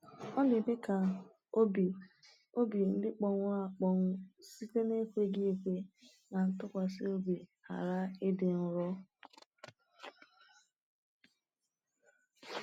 Ọ na-eme ka obi obi ndị kpọnwụrụ akpọnwụ site n’ekweghị ekwe na ntụkwasị obi ghara ịdị nro.